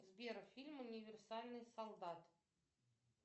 сбер фильм универсальный солдат